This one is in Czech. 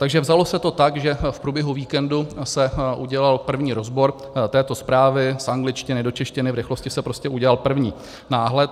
Takže se to vzalo tak, že v průběhu víkendu se udělal první rozbor této zprávy z angličtiny do češtiny, v rychlosti se prostě udělal první náhled.